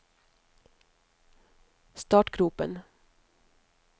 startgropen